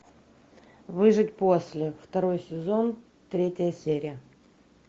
выжить после второй сезон третья серия